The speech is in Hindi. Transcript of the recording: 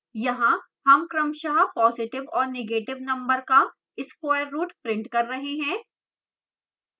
यहाँ हम क्रमशः positive और negative number का square root प्रिंट कर कर रहे हैं